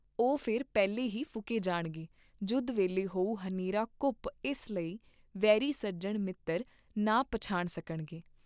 ਓਹ ਫਿਰ ਪਹਿਲੇ ਹੀ ਫੂਕੇ ਜਾਣਗੇ ਜੁੱਧ ਵੇਲੇ ਹੋਊ ਹਨੇਰਾ ਘੁੱਪ ਇਸ ਲਈ ਵੈਰੀ ਸੱਜਣ ਮਿਤ੍ਰ ਨਾ ਪਛਾਣ ਸਕਣਗੇ।